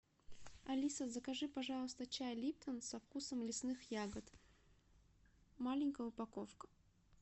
алиса закажи пожалуйста чай липтон со вкусом лесных ягод маленькая упаковка